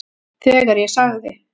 Þegar ég sagði